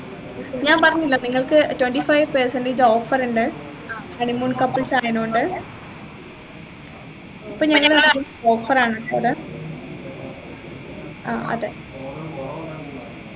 ഞാൻ പറഞ്ഞില്ലേ നിങ്ങൾക്ക് twenty five percentage offer ഉണ്ട് honey moon couples ആയത്കൊണ്ട് ഇപ്പൊ ഞങ്ങൾ ആക്കിയ offer ആണുകേട്ടോ അത് ആ അതെ